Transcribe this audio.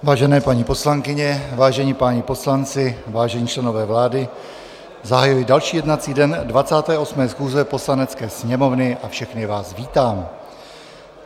Vážené paní poslankyně, vážení páni poslanci, vážení členové vlády, zahajuji další jednací den 28. schůze Poslanecké sněmovny a všechny vás vítám.